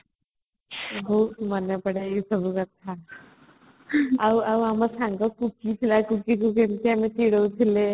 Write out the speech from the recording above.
ବହୁତ ମନେ ପଡେ ଏଇସବୁ କଥା ଆଉ ଆଉ ଆମ ସାଙ୍ଗ ସୁଶ୍ରୀ ଯେମିତି ଆମେ ଚିଡଉଥିଲେ